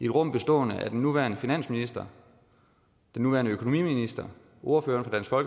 rum bestående af den nuværende finansminister den nuværende økonomiminister ordføreren for